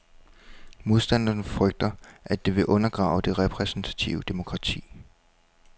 Modstanderne frygter, at det vil undergrave det repræsentative demokrati.